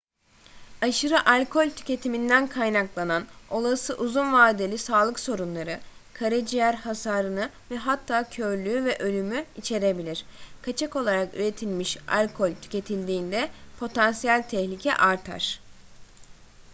aşırı alkol tüketiminden kaynaklanan olası uzun vadeli sağlık sorunları karaciğer hasarını ve hatta körlüğü ve ölümü içerebilir kaçak olarak üretilmiş alkol tüketildiğinde potansiyel tehlike artar